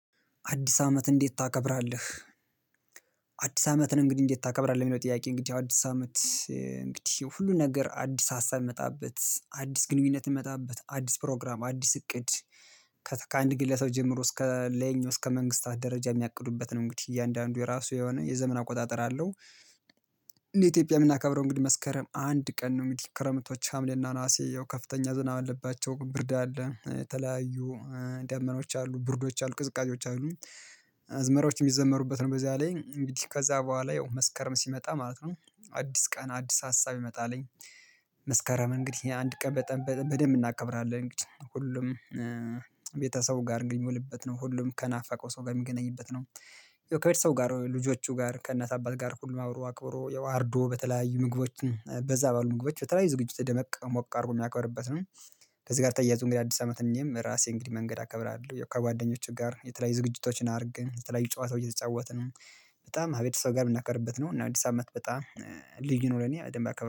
አዲስ አመት እንዴት ታከብራለህ? አዲስ አመትን እንግዲህ እንዴት ታከብራለህ የሚለው ጥያቄ እንግዲህ ያው አዲስ አመት እንግዲህ ሁሉ ነገር አዲስ ሀሳብ እሚመጣበት አዲስ ግንኙነት እሚመጣበት አዲስ ፕሮግራም አዲስ እቅድ ከተ ከአንድ ግለሰብ ጀምሮ እስከ ላይኛው እስከ መንግስታት ደረጃ የሚያቅዱበት ነው። እንግዲህ እያንዳንዱ የራሱ የሆነ የዘመን አቆጣጠር አለው። እንደ ኢትዮጵያ የምናከብረው እንግዲህ መስከረም አንድ ቀን ነው። እንግዲህ ክረምቶች ሀምሌና ነሀሴ ያው ከፍተኛ ዝናብ አለባቸው ብርድ አለ የተለያዩ ደመናዎች አሉ ብርዶች አሉ ቅዝቃዜዎች አሉ። አዝመራዎች የሚዘመሩበት ነው በዚያ ላይ እንግዲህ ከዛ በኋላ ያው መስከረም ሲመጣ ማለት ነው። አዲስ ቀን አዲስ ሀሳብ ይመጣልኝ። መስከረም እንግዲህ አንድ ቀን በጠም በደንብ እናከብራለን እንግዲህ ሁሉም ቤተሰቡ ጋር ግን የሚውልበት ነው ሁሉም ከናፈቀው ሰው ጋር የሚገናኝበት ነው። ያው ከቤተሰብ ጋር ልጆቹ ጋር ከእናት አባት ጋር ሁሉም አብሮ አክብሮ ያው አርዶ በተለያዩ ምግቦች በዛ ባሉ ምግቦች በተለያዩ ዝግጅቶች ደመቅ ሞቅ አድርጎ የሚያከብርበት ነው። ከዚህ ጋር ተያያዞ እንግዲህ አዲስ አመት እኔም ራሴ እንግዲህ መንገድ አከብራለሁ ከጓደኞቼ ጋር የተለያዩ ዝግጅቶችን አድርገን የተለያዩ ጨዋታው እየተጫወትን በጣም አቤተሰብ ጋር የምናከብርበት ነው። እና አዲስ አመት በጣም ልዩ ነው። ለኔ በደንብ አከ